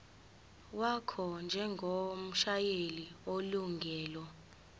wakho njengomshayeli onelungelo